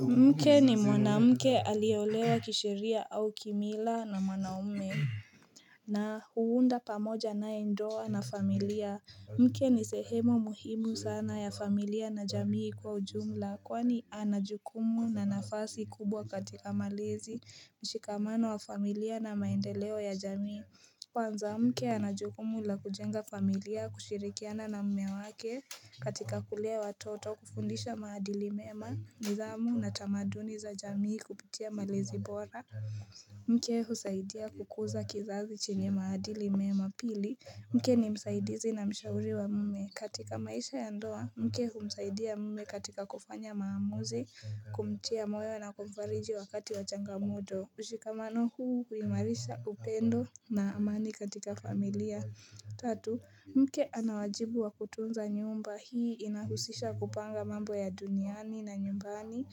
Mke ni mwanamke aliyeolewa kisheria au kimila na mwanaume na hunda pamoja naye ndoa na familia Mke ni sehemu muhimu sana ya familia na jamii kwa ujumla kwani ana jukumu na nafasi kubwa katika malezi mshikamano wa familia na maendeleo ya jamii kwanza mke ana jukumu la kujenga familia kushirikiana na mme wake katika kulea watoto kufundisha maadili mema, nidhamu na tamaduni za jamii kupitia malezi bora. Mke husaidia kukuza kizazi chenye maadili mema pili. Mke ni msaidizi na mshauri wa mme. Katika maisha ya ndoa, mke husaidia mme katika kufanya maamuzi kumtia moyo na kumfariji wakati wa changamodo. Mshikamano huu huimarisha upendo na amani katika familia. Tatu. Mke ana wajibu wa kutunza nyumba. Hii inahusisha kupanga mambo ya duniani na nyumbani.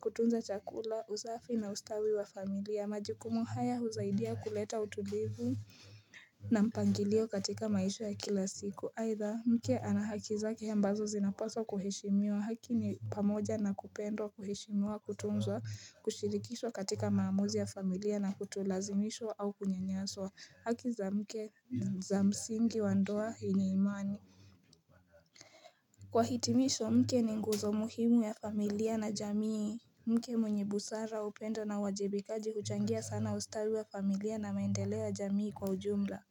Kutunza chakula, usafi na ustawi wa familia. Majukumu haya husaidia kuleta utulivu na mpangilio katika maisha ya kila siku. Aidha mke ana haki zake ambazo zinapaswa kuheshimiwa haki ni pamoja na kupendwa kuheshimiwa kutunzwa kushirikishwa katika maamuzi ya familia na kutolazimishwa au kunyanyaswa haki za mke za msingi wa ndoa yenye imani Kwa hitimisho mke ni nguzo muhimu ya familia na jamii Mke mwenye busara upendo na wajibikaji huchangia sana ustawii wa familia na maendeleo ya jamii kwa ujumla.